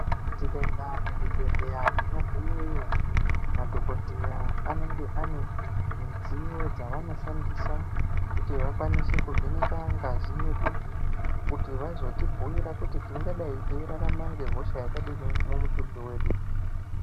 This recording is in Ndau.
Tikaenda muzvibhedhleya tinogumeyo madhogodheya anenge ane midziyo dzavanoshandisa kuti vakwanise kuvheneka ngazi yedu. Kuti vazotibhuira kuti tingadai teirarama ngehosha yakadini mumutumbi vedu.